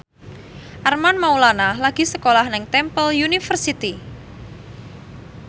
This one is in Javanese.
Armand Maulana lagi sekolah nang Temple University